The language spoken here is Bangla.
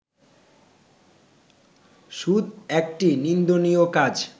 সুদ একটি নিন্দনীয় কাজ